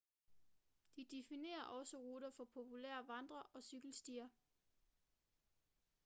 de definerer også ruter for populære vandre- og cykelstier